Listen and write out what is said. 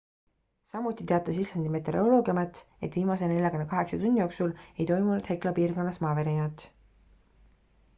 samuti teatas islandi meteoroloogiaamet et viimase 48 tunni jooksul ei toimunud hekla piirkonnas maavärinat